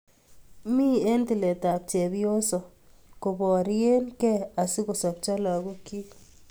Mi eng tiletab chepyoso koborie kei asikosobcho lagokchi